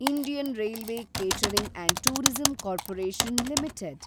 Indian railway catering and tourism corporation limited